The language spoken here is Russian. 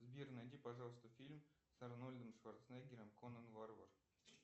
сбер найди пожалуйста фильм с арнольдом шварценеггером конан варвар